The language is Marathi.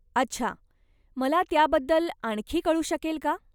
अच्छा, मला त्याबद्दल आणखी कळु शकेल का?